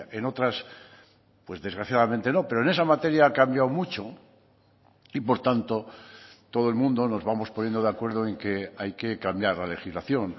en otras pues desgraciadamente no pero en esa materia ha cambiado mucho y por tanto todo el mundo nos vamos poniendo de acuerdo en que hay que cambiar la legislación